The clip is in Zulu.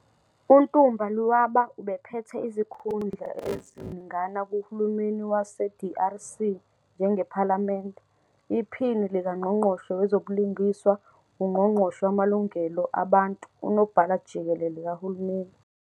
UNtumba Luaba ubephethe izikhundla eziningana kuhulumeni waseDRC njengePhalamende, iphini likangqongqoshe wezobulungiswa, ungqongqoshe wamalungelo abantu, unobhala-jikelele kahulumeni.